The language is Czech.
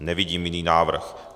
Nevidím jiný návrh.